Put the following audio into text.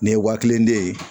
Nin ye waa kelen de ye